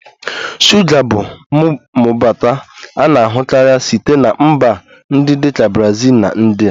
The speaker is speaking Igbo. Shuga bụ mbubata a na-ahụkarị site na mba ndị dị ka Brazil na India